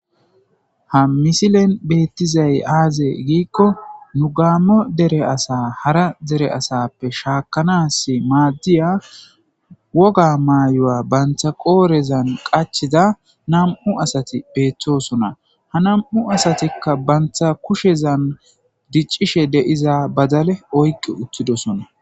Ha misilen beeththizay aazee giikko nu gaammo dere asa hara dere asappe shaakkanaassi maaddiya woga maayuwa banththa qoorezan qachchida nam7u asathi beeththoosona; ha nam7u asathikka banththa kushezan diccishe de7iza badale oyqqi uththidosona.